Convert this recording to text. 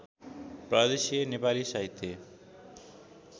प्रदेशीय नेपाली साहित्य